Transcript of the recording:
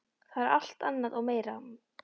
Það er alt annað og meira.